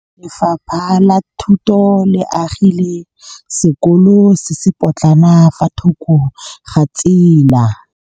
Lefapha la Thuto le agile sekôlô se se pôtlana fa thoko ga tsela.